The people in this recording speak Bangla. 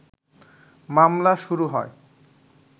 মামলা শুরু হয়